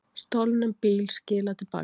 Stolnum bíl skilað til baka